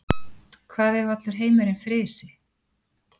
Hvað ef allur heimurinn frysi?